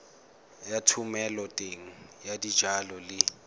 ya thomeloteng ya dijalo le